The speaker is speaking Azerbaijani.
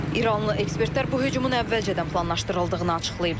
İranlı ekspertlər bu hücumun əvvəlcədən planlaşdırıldığını açıqlayıblar.